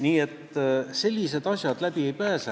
Nii et sellised asjad läbi ei pääse.